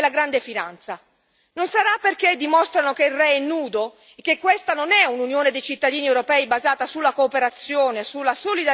Non sarà perché dimostrano che il re è nudo e che questa non è un'Unione dei cittadini europei, basata sulla cooperazione, sulla solidarietà e sull'uguaglianza?